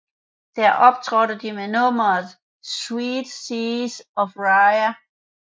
Der optrådte de med nummeret Seven Seas of Rhye